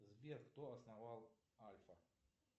сбер кто основал альфа